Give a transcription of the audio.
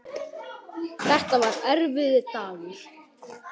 Þetta var erfiður dagur.